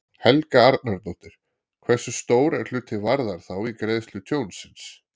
Helga Arnardóttir: Hversu stór er hluti Varðar þá í greiðslu tjónsins?